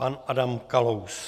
Pan Adam Kalous.